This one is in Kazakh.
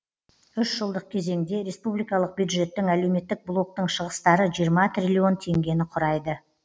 үш жылдық кезеңде республикалық бюджеттің әлеуметтік блоктың шығыстары жиырма трилллион теңгені құрайды